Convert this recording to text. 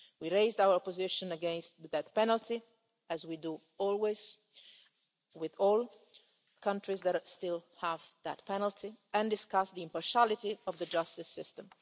We raised our position against the death penalty, as we always do with all countries that still have that penalty, and we discussed the impartiality of the justice system.